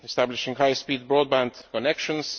establishing high speed broadband connections